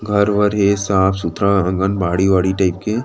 घर वर ये साफ़-सुथरा आगन बाड़ी टाइप के--